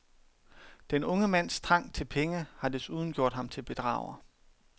Den unge mands trang til penge har desuden gjort ham til bedrager.